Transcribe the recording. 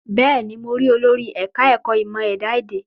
Bẹ́ẹ̀ ní, mo rí olórí ẹ̀ka ẹ̀kọ́ ìmọ ẹ̀dá èdè.